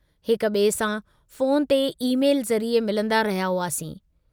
हिक बिए सां फ़ोन ते ई-मेल ज़रिए मिलन्दा रहिया हुआसीं।